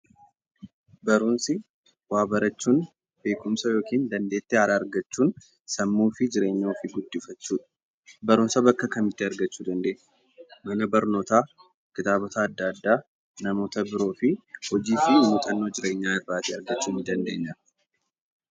Barumsi waa barachuun beekumsa yokiin dandeettii haaraa argachuun sammuu fi jireenya ofii guddifachuu. Barumsa bakka kamitti argachuu dandeenya? mana barnootaa, kitaabota adda addaa, namoota biroofi hojiifi muuxannoo jireenyaa irraa argachuu ni dandeenya?